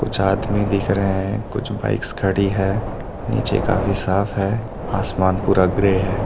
कुछ आदमी दिख रहे हैं कुछ बाइक्स खड़ी है नीचे काफी साफ है आसमान पूरा ग्रे है।